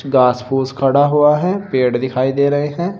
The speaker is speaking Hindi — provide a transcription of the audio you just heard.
घास फूस खड़ा हुआ है। पेड़ दिखाई दे रहे हैं।